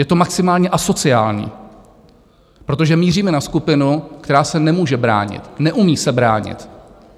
Je to maximálně asociální, protože míříme na skupinu, která se nemůže bránit, neumí se bránit.